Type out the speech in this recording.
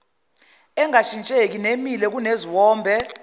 engashintsheki nemile kuneziwombe